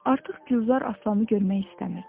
Artıq Gülzar Aslanı görmək istəmirdi.